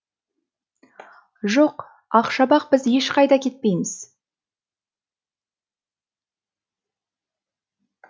жоқ ақшабақ біз ешқайда кетпейміз